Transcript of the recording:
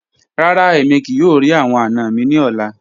Rara, emi kii yoo ri awọn ana mi ni ọla